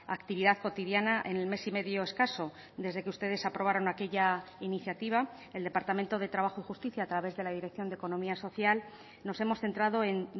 actividad cotidiana en el mes y medio escaso desde que ustedes aprobaron aquella iniciativa el departamento de trabajo y justicia a través de la dirección de economía social nos hemos centrado en